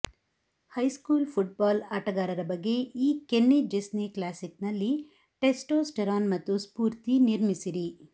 high school football ಆಟಗಾರರ ಬಗ್ಗೆ ಈ ಕೆನ್ನಿ ಚೆಸ್ನಿ ಕ್ಲಾಸಿಕ್ನಲ್ಲಿ ಟೆಸ್ಟೋಸ್ಟೆರಾನ್ ಮತ್ತು ಸ್ಫೂರ್ತಿ ನಿರ್ಮಿಸಿರಿ